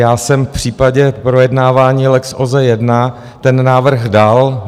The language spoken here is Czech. Já jsem v případě projednávání Lex OZE I ten návrh dal.